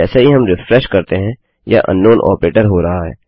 जैसे ही हम रिफ्रेश करते हैं यह अंकनाउन आपरेटर हो रहा है